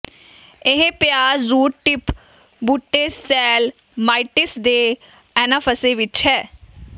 ਇਹ ਪਿਆਜ਼ root tip ਬੂਟੇ ਸੈਲ ਮਾਈਟਿਸ ਦੇ ਐਨਾਫੈਸੇ ਵਿੱਚ ਹੈ